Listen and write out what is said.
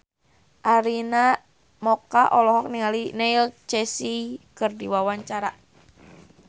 Arina Mocca olohok ningali Neil Casey keur diwawancara